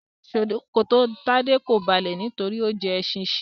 Ṣòkòtò Tade ko balẹ nítorí o jẹ ẹsin shia.